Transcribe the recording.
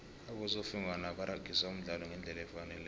abosofengwana baragisa umdlalo ngendlela efaneleko